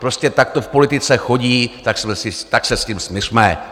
Prostě tak to v politice chodí, tak se s tím smiřme.